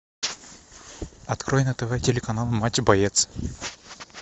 открой на тв телеканал матч боец